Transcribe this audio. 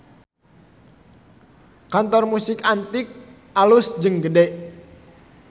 Kantor Musik Antik alus jeung gede